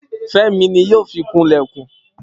Femi ni yoo fi kun ilekun